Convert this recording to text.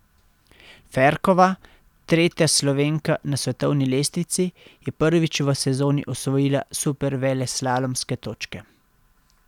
Ferkova, tretja Slovenka na svetovni lestvici, je prvič v sezoni osvojila superveleslalomske točke.